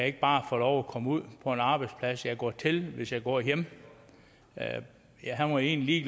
ikke bare få lov at komme ud på en arbejdsplads jeg går til hvis jeg går hjemme han var egentlig